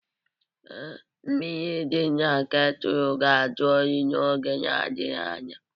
Ee, mmiri dị na kettle ga-ajụ oyi n'oge na-adịghị anya